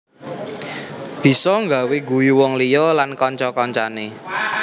Bisa gawé guyu wong liya lan kanca kancané